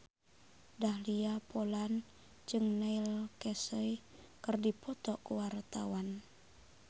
Dahlia Poland jeung Neil Casey keur dipoto ku wartawan